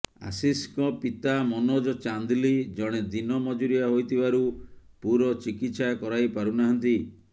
ଆଶିଷଙ୍କ ପିତା ମନୋଜ ଚାନ୍ଦିଲ ଜଣେ ଦିନ ମଜୁରିଆ ହୋଇଥିବାରୁ ପୁଅର ଚିକିତ୍ସା କରାଇପାରୁନାହାନ୍ତି